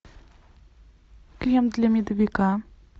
крем для медовика